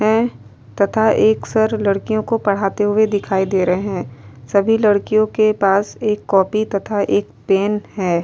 है तथा एक सर लडकियों को पढ़ाते हुवे दिखाई दे रहे है। सभी लड़कियों के पास एक कॉपी तथा एक पेन है।